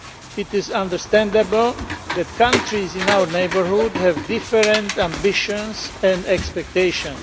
It is understandable that countries in our neighbourhood have different ambitions and expectations.